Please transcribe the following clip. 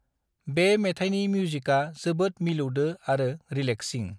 बे मेथाइनि मिउजिका जोबोद मिलौदो आरो रिलैक्सिंI